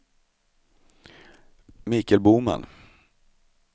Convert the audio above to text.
Michael Boman